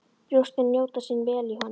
Brjóstin njóta sín vel í honum.